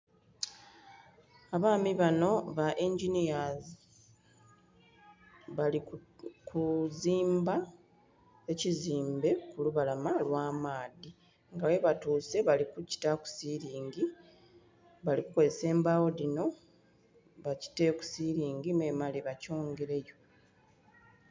Abaami banho ba yinginiya bali kuzimba ekizimbe ku lubalama lwa maadhi nga ghe batuuse bali kukitaaku silingi bali kukozesa embagho dhino bakiteeku silingi me mmale bakyongereyo.